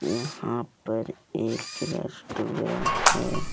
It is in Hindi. यहां पर एक रेस्टोरेंट है।